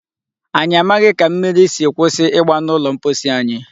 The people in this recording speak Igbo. Anyị amaghị ka mmiri si kwụsị igba n'ụlọ mposi anyị.